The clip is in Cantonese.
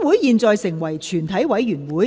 現在成為全體委員會。